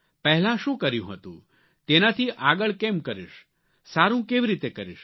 પહેલાં શુ કર્યું હતું તેનાથી આગળ કેમ કરીશ સારૂં કેવી રીતે કરીશ